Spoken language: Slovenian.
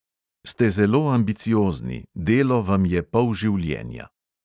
Ste zelo ambiciozni, delo vam je pol življenja.